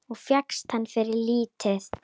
Og fékkst hana fyrir lítið!